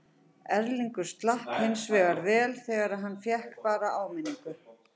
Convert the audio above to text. Erlingur slapp hinsvegar vel því hann fékk bara áminningu.